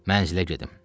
Mənzilə gedim.